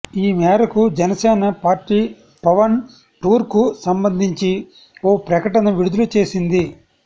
ఈ మేరకు జనసేన పార్టీ పవన్ టూర్కు సంబంధించి ఓ ప్రకటన విడుదల చేసింది